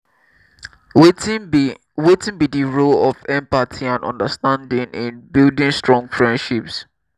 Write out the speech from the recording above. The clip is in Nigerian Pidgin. wetin be wetin be di role of empathy and understanding in building strong frienships?